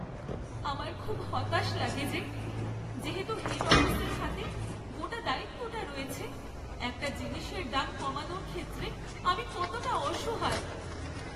আমার খুব হতাশ লাগে যে, যেহেতু হেড অফিসের হাতে গোটা দায়িত্বটা রয়েছে; একটা জিনিসের দাম কমানোর ক্ষেত্রে আমি কতটা অসহায়!